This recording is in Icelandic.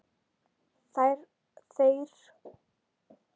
Þér fer líka fram.